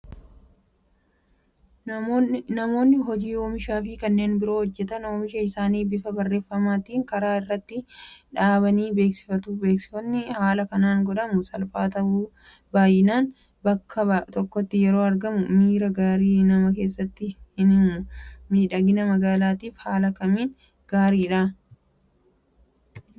Namoonni hojii oomishaafi kanneen biroo hojjetan oomisha isaanii bifa barreeffamaatiin karaa irratti dhaabanii beeksifatu. Beeksifni haala kanaan godhamu salphaa ta'uyyuu baay'inaan bakka tokkotti yeroo argamu miira gaarii nama keessatti hinuumu. Miidhagina magaalaatiif haala kamiin gaariidha?